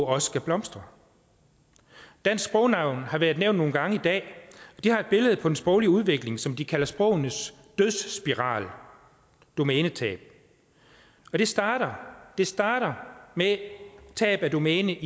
også kan blomstre dansk sprognævn har været nævnt nogle gange i dag de har et billede på den sproglige udvikling som de kalder sprogenes dødsspiral domænetab og det starter det starter med tab af domæne